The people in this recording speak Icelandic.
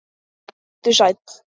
Komdu sæll.